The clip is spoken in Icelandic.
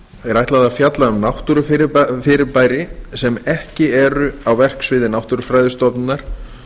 er ætlað að fjalla um náttúrufyrirbæri sem ekki eru á verksviði náttúrufræðistofnunar